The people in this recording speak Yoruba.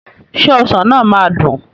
Ṣé ọsàn náà máa dùn?